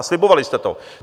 A slibovali jste to.